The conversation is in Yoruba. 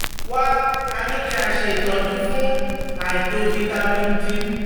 Wá a ní kí a ṣe ìtọ́jú fún àìtó vitamin D